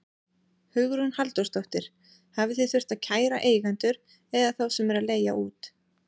Hugrún Halldórsdóttir: Hafið þið þurft að kæra eigendur eða þá sem eru að leigja út?